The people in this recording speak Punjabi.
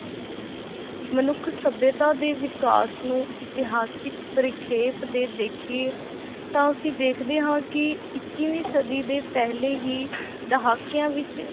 ਮਨੁੱਖ ਸਭਿਅਤਾ ਦੇ ਵਿਕਾਸ ਨੂੰ ਇਤਿਹਾਸਕ ਪਰਿਪੇਖ ਦੇ ਦੇਖੀਏ ਤਾਂ ਅਸੀਂ ਦੇਖਦੇ ਹਾਂ ਕਿ ਇੱਕੀਵੀਂ ਸਦੀ ਦੇ ਪਹਿਲੇ ਹੀ ਦਹਾਕਿਆਂ ਵਿੱਚ